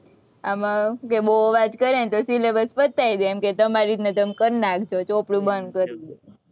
આમાં જો બોવ અવાજ કરે તો syllabus પતાઈ દે, એમ કે તમારે રીતના તમે કરી નાખજો, ચોપડું બંધ કરી દે,